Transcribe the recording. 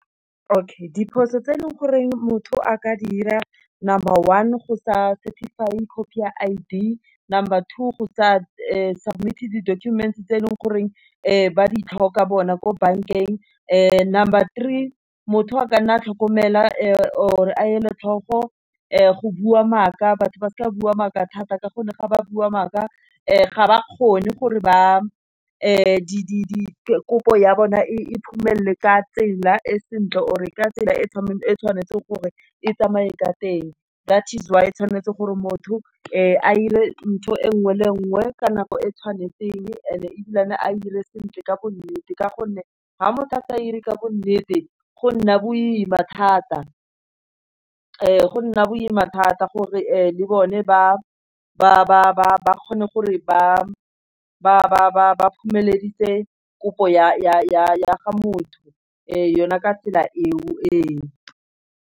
Okay, diphoso tse e leng gore motho a ka dira number one, go sa certified copy ya I_D, number two, go sa submit di-documents tse e leng goreng ba di tlhoka bona ko bankeng, number three, motho a ka nna tlhokomela or a e le tlhoko go bua maaka. Batho ba sa bua maaka thata ka gonne ga ba bua maaka ga ba kgone gore ba kopo ya bona e phomelele ka tsela e sentle or e ka tsela e e tshwanetseng gore e tsamaye ka teng. That is why tshwanetse gore motho a ire ntho e nngwe le nngwe ka nako e tshwanetseng, e ne ebile a ire sentle ka bonnete. Ka gonne ga motho a sa e ire ka bo nnete, go nna boima thata gore le bone ba kgone gore ba phomeleditse kopo ya ga motho e, yona ka tsela e o.